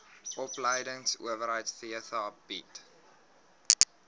opleidingsowerheid theta bied